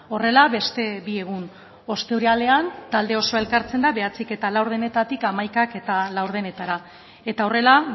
horrela beste bi egun ostiralean talde osoa elkartzen da bederatzihamabostetatik hamaikahamabostetara eta horrela